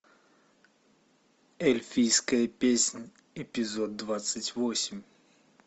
эльфийская песня эпизод двадцать восемь